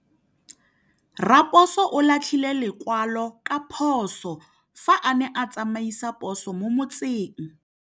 Raposo o latlhie lekwalô ka phosô fa a ne a tsamaisa poso mo motseng.